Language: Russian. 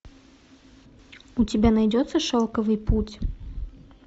у тебя найдется шелковый путь